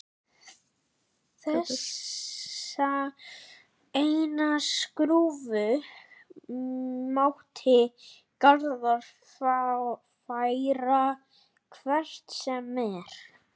Þessa einu skrúfu mátti Garðar færa hvert sem er.